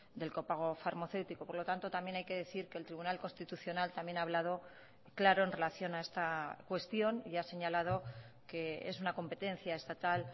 del copago farmacéutico por lo tanto también hay que decir que el tribunal constitucional también ha hablado claro en relación a esta cuestión y ha señalado que es una competencia estatal